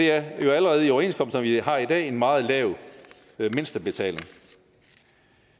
er jo allerede i overenskomster vi har i dag en meget lav mindstebetaling